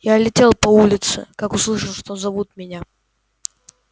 я летел по улице как услышал что зовут меня